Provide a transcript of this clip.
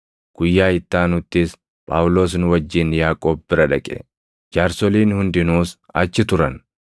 Guyyaa itti aanuttis Phaawulos nu wajjin Yaaqoob bira dhaqe; jaarsoliin hundinuus achi turan.